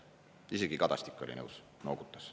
Isegi Kadastik oli nõus, noogutas.